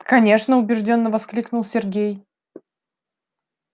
конечно убеждённо воскликнул сергей